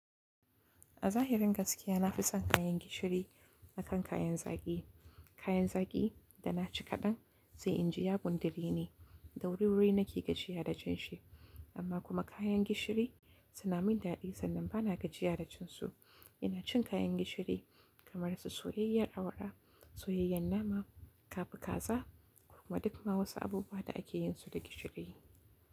A zahirin gaskiya na fi son kayan gishiri akan kayan zaki. Kayan zaki da naci kaɗan zai inji yagundireni, da wuriwuri nake gajiya da jin shi, amma kuma kayan gishiri suna min dadi sannan ba na gajiya da jin su. Ina cin kayan gishiri kamar su soyayyar awara, soyayyar nama, kafikaza kuma duk ma wasu abubuwa da ake yin su da gishiri.